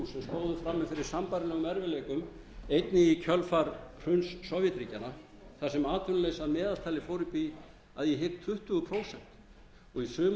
og þrjú sem stóðu frammi fyrir sambærilegum erfiðleikum einnig í kjölfar hruns sovétríkjanna þar sem atvinnuleysi að meðaltali fór upp í að ég hygg tuttugu prósent að meðaltali og í sumum